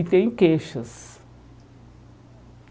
E tem queixas.